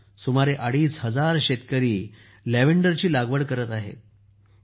आज सुमारे अडीच हजार शेतकरी लॅव्हेंडरची लागवड करत आहेत